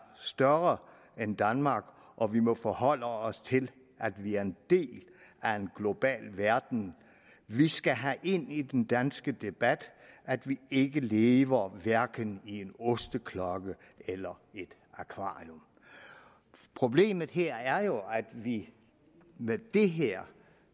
større end danmark og vi må forholde os til at vi er en del af en global verden vi skal have ind i den danske debat at vi ikke lever hverken i en osteklokke eller et akvarium problemet her er jo at vi med det her